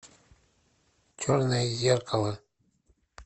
черное зеркало